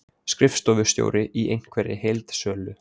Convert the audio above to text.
Skrifstofustjóri í einhverri heildsölu.